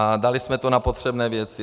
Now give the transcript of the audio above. A dali jsme to na potřebné věci.